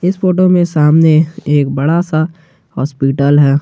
इस फोटो में सामने एक बड़ा सा हॉस्पिटल है।